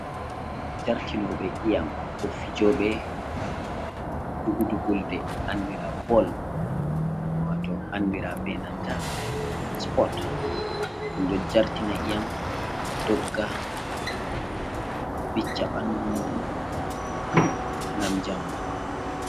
Jartinoɓe iyam, ko fijoɓe dugu-dugulde andira ball. Wato andira be nanta sport. Ɗo jartina iyam, dogga, licca ɓandu muɗum ngam njamu.